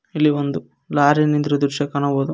ಇಲ್ಲಿ ಒಂದು ಲಾರಿ ನಿಂತಿರುವ ದೃಶ್ಯ ಕಾಣಬಹುದು.